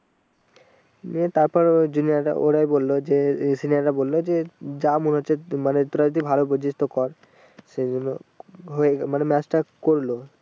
নিয়ে তারপর ওই junior রা ওরাই বললো যে senior বললো যে যা মনে হচ্ছে মানে তোরা যদি ভালো বুঝিস তাই কর সেই জন্য হয়ে গেলো মানে match তা করলো ।